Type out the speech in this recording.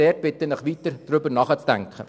Ich bitte Sie, weiter darüber nachzudenken.